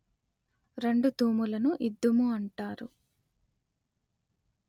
రెండు తూములను ఇద్దుము అంటారు